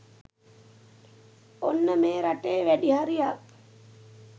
ඔන්න මේ රටේ වැඩි හරියක්